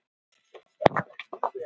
Gumi, spilaðu lagið „Láttu mig vera“.